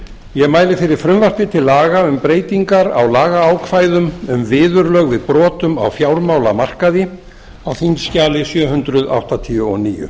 ég mæli fyrir frumvarpi til laga um breytingar á lagaákvæðum um viðurlög við brotum á fjármálamarkaði á þingskjali sjö hundruð áttatíu og níu